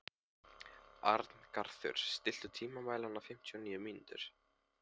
Arngarður, stilltu tímamælinn á fimmtíu og níu mínútur.